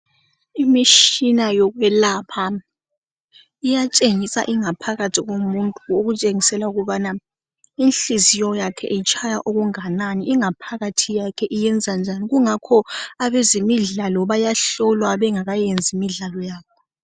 Imishina yokwelapha iyatshengisa ingaphakathi komuntu ukutshengisela ukubana inhliziyo yakhe itshaya okunganani ingaphakathi yakhe iyenza njani kungakho abezemidlalo bayahlolwa bengakayenzi imidlalo yabo